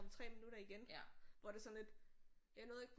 Om 3 minutter igen hvor det er sådan lidt jeg nåede ikke